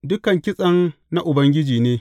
Dukan kitsen na Ubangiji ne.